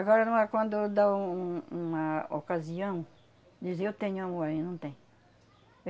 Agora, não há quando dá um uma ocasião, dizer eu tenho amor aí, não tem.